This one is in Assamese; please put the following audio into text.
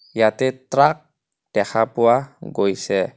ইয়াতে ট্ৰাক দেখা পোৱা গৈছে.